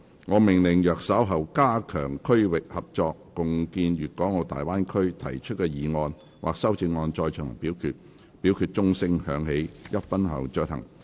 我命令若稍後就"加強區域合作，共建粵港澳大灣區"所提出的議案或修正案再進行點名表決，表決須在鐘聲響起1分鐘後進行。